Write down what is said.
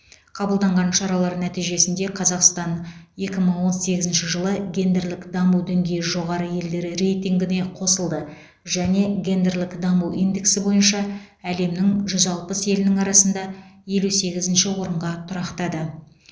қабылданған шаралар нәтижесінде қазақстан екі мың он сегізінші жылы гендерлік даму діңгейі жоғары елдер рейтингіне қосылды және гендерлік даму индексі бойынша әлемнің жүз алпыс елінің арасында елу сегізінші орынға тұрақтады